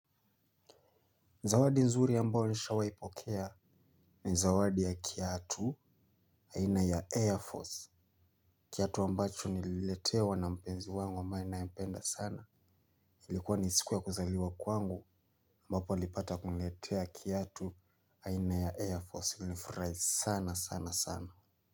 Zawadi nzuri ambao nishai pokea ni zawadi ya kiatu aina ya Air Force. Kiatu ambacho nililetewa na mpenzi wangu ambae ninayempenda sana. Ilikuwa ni siku ya kuzaliwa kwangu ambapo alipata kuniletea kiatu aina ya Air Force. Nilifurahi sana sana sana.